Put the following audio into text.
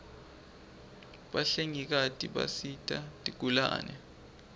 bahlengikati bisita tigulane